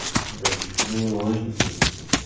É que. A gente ficou meio longe do centro de São Paulo.